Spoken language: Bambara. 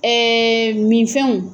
Eeee min fɛnw